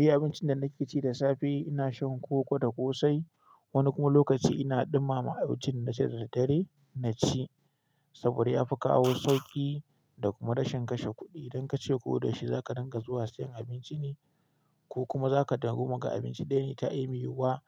Eh abincin da nake ci da safe ina shan koko da kosai. Wani kuma lokaci ina ɗumama a wajen na ce da dare na ci saboda ya fi kawo sauƙi da kuma rashin kashe kuɗi. Idan kace ko da shi za ka dinga zuwa sayan abinci ne ko kuma za ka taru maka abinci daya ne ta aimi wa